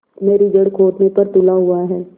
मेरी जड़ खोदने पर तुला हुआ है